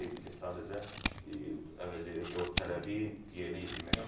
Sadəcə əvəzedir ki, o tələbi yerinə yetirmək üçün lazımdır.